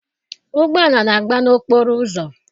Ụgbọala na-agba n'okporo ụzọ.